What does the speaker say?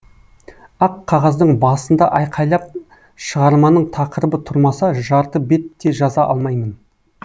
ақ қағаздың басында айқайлап шығарманың тақырыбы тұрмаса жарты бет те жаза алмаймын